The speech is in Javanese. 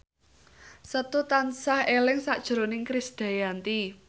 Setu tansah eling sakjroning Krisdayanti